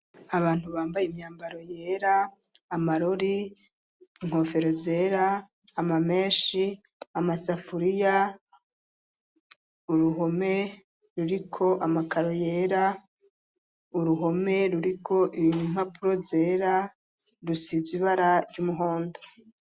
Abantu bambaye imyambaro yera, amarori, inkofero zera, ama menshi, amasafuriya, uruhome ruriko amakaro yera, uruhome ruriko impapuro zera rusizwe ibara ry'umuhondo.